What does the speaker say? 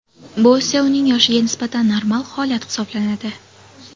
Bu esa uning yoshiga nisbatan normal holat hisoblanadi.